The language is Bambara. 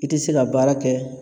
I tI se ka baara kɛ